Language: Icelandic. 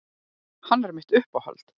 Hann er mitt uppáhald.